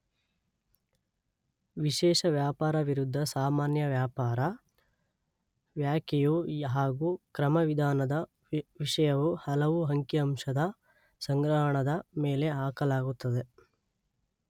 ವಿಶೇಷ ವ್ಯಾಪಾರ ವಿರುದ್ಧ ಸಾಮಾನ್ಯ ವ್ಯಾಪಾರ) ವ್ಯಾಖೆಯು ಹಾಗೂ ಕ್ರಮವಿಧಾನದ ವಿಷಯವು ಹಲವು ಅಂಕಿಅಂಶದ ಸಂಗ್ರಹಣದ ಮೇಲೆ ಹಾಕಲಾಗುತ್ತದೆ.